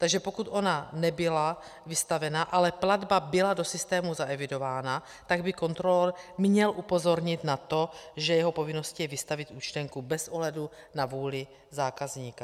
Takže pokud ona nebyla vystavena, ale platba byla do systému zaevidována, tak by kontrolor měl upozornit na to, že jeho povinností je vystavit účtenku bez ohledu na vůli zákazníka.